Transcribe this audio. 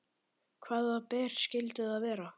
Hvaða ber skyldu það vera?